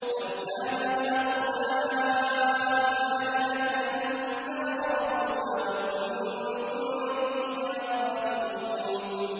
لَوْ كَانَ هَٰؤُلَاءِ آلِهَةً مَّا وَرَدُوهَا ۖ وَكُلٌّ فِيهَا خَالِدُونَ